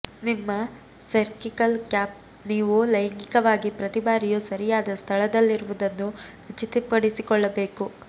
ನಿಮ್ಮ cervical cap ನೀವು ಲೈಂಗಿಕವಾಗಿ ಪ್ರತಿ ಬಾರಿಯೂ ಸರಿಯಾದ ಸ್ಥಳದಲ್ಲಿರುವುದನ್ನು ಖಚಿತಪಡಿಸಿಕೊಳ್ಳಬೇಕು